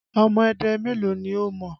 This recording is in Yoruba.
Ọmọ Ẹdẹ mélòó ni o mọ̀?